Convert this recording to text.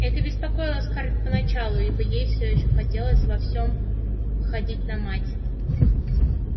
это беспокоило скарлетт поначалу ибо ей всё ещё хотелось во всём походить на мать